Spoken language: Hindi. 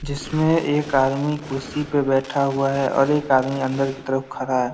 जिसमें एक आदमी कुर्सी पे बैठा हुआ है और एक आदमी अंदर की तरफ खरा है।